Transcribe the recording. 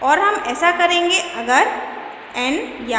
और हम ऐसा करेंगे अगर